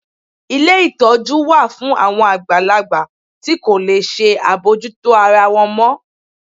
Ilé ìtọ́jú wa fún awon àgbàlagbà ti ko le ṣe abojuto ara wọn mọ